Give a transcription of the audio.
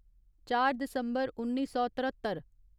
चार दिसम्बर उन्नी सौ तरत्तर